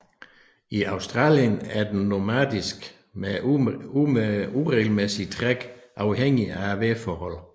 I Australien er den nomadisk med uregelmæssig træk afhængigt af vejrforholdene